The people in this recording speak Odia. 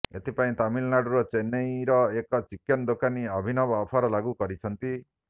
ଏଥି ପାଇଁ ତାମିଲନାଡୁର ଚେନ୍ନେର ଏକ ଚିକେନ ଦୋକାନୀ ଅଭିନବ ଅଫର ଲାଗୁ କରିଛନ୍ତି